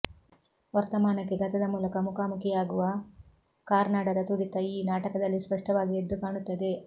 ವರ್ತಮಾನಕ್ಕೆ ಗತದ ಮೂಲಕ ಮುಖಾಮುಖಿಯಾಗುವ ಕಾರ್ನಾಡರ ತುಡಿತ ಈ ನಾಟಕದಲ್ಲಿ ಸ್ಪಷ್ಟವಾಗಿ ಎದ್ದು ಕಾಣುತ್ತದೆ